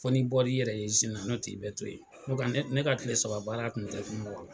Fɔ ni bɔr'i yɛrɛ ye sini n'otɛ ii bɛ to yen nka ne ka tile saba baara tun tɛ